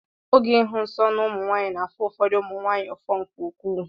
Oge ịhụ nsọ na ụmụ nwaanyị na-afụ ụfọdụ ụmụ nwaanyị ụfụ nke ukwuu.